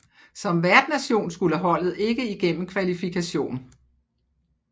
Som værtnation skulle holdet ikke igennem kvalifikation